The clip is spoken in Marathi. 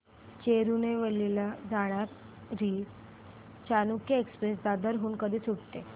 तिरूनेलवेली ला जाणारी चालुक्य एक्सप्रेस दादर हून कधी सुटते